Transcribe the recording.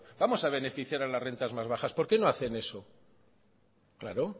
vamos a beneficiar a las rentas más bajas por qué no hacen eso claro